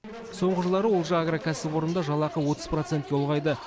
соңғы жылдары олжа агро кәсіпорнында жалақы отыз процентке ұлғайды